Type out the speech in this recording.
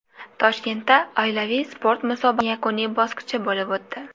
Toshkentda oilaviy sport musobaqasining yakuniy bosqichi bo‘lib o‘tdi.